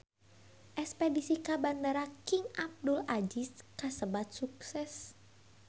Espedisi ka Bandara King Abdul Aziz kasebat sukses